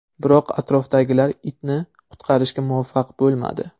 Biroq atrofdagilar itni qutqarishga muvaffaq bo‘lmadi.